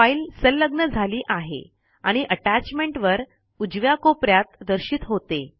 file सलग्न झाली आहे आणि अटैच्मेंट वर उजव्या कोपेऱ्यात दर्शित होते